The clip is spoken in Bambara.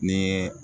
Ni